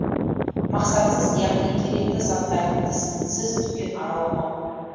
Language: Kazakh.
мақсатсыз яғни керекті заттардың тізімінсіз дүкен араламау